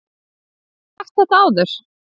Hef ég ekki sagt þetta áður?